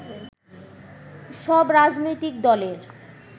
সব রাজনৈতিক দলের